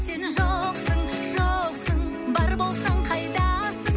сен жоқсың жоқсың бар болсаң қайдасың